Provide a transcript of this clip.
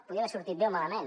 podia haver sortit bé o malament